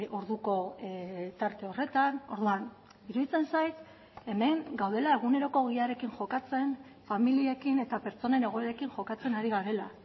orduko tarte horretan orduan iruditzen zait hemen gaudela eguneroko ogiarekin jokatzen familiekin eta pertsonen egoerekin jokatzen ari garela